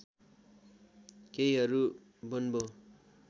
केहीहरू बोन्बो